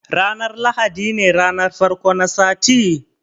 Ranar lahadi ne ranar farko na sati?